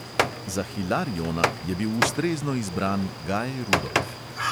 Za hilariona je bil ustrezno izbran gaj rudolf.